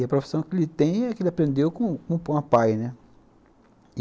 E a profissão que ele tem é que ele aprendeu com com o papai, né?